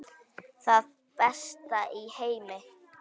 Það besta í heimi.